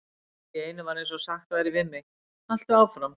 Allt í einu var eins og sagt væri við mig: Haltu áfram.